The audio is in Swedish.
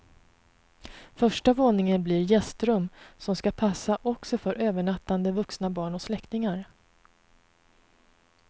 Första våningen blir gästrum, som ska passa också för övernattande vuxna barn och släktingar.